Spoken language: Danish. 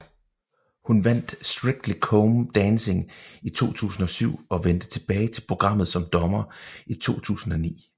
Hun vandt Strictly Come Dancing i 2007 og vendte tilbage til programmet som dommer i 2009